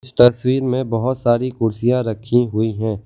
तस्वीर में बहोत सारी कुर्सियाँ रखीं हुई हैं।